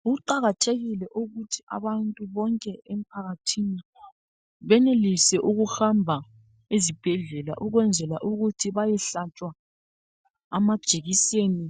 Kuqakathekile ukuthi abantu bonke emphakathini benelise ukuhamba ezibhedlela ukwenzela ukuthi bayehlatshwa amajekiseni